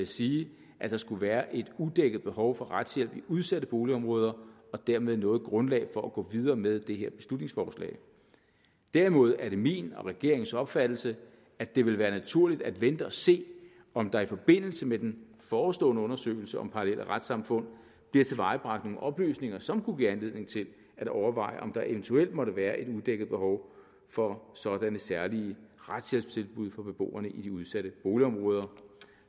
sige at der skulle være et udækket behov for retshjælp i udsatte boligområder og dermed noget grundlag for at gå videre med dette beslutningsforslag derimod er det min og regeringens opfattelse at det vil være naturligt at vente og se om der i forbindelse med den forestående undersøgelse om parallelle retssamfund bliver tilvejebragt nogle oplysninger som kunne give anledning til at overveje om der eventuelt måtte være et udækket behov for sådanne særlige retshjælpstilbud for beboerne i de udsatte boligområder